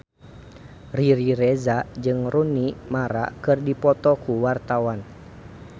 Riri Reza jeung Rooney Mara keur dipoto ku wartawan